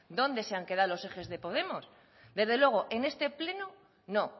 dónde se han quedado los ejes de podemos desde luego en este pleno no